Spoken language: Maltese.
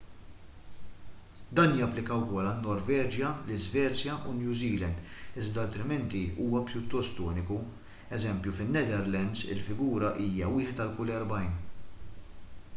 dan japplika wkoll għan-norveġja l-iżvezja u new zealand iżda altrimenti huwa pjuttost uniku eż. fin-netherlands il-figura hija wieħed għal kull erbgħin